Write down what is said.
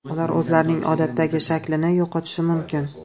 Ular o‘zlarining odatdagi shaklini yo‘qotishi mumkin.